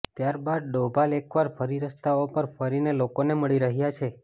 ત્યારબાદ ડોભાલ એકવાર ફરી રસ્તાઓ પર ફરીને લોકોને મળી રહ્યાં છે